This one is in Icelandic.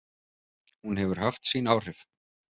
Hún hefur haft sín áhrif.